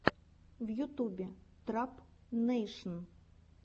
в ютюбе трап нэйшн